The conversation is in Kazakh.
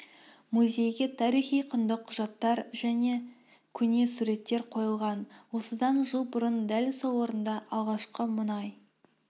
музейге тарихи құнды құжаттар мен көне суреттер қойылған осыдан жыл бұрын дәл сол орында алғашқы мұнай